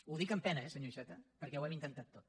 ho dic amb pena eh senyor iceta perquè ho hem intentat tot